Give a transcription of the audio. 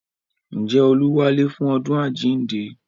Ǹjẹ́ olú wálé fún ọdún àjíǹde